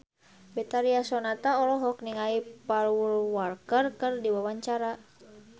Betharia Sonata olohok ningali Paul Walker keur diwawancara